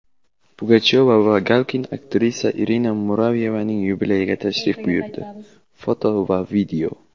Pugachyova va Galkin aktrisa Irina Muravyevaning yubileyiga tashrif buyurdi (foto va video).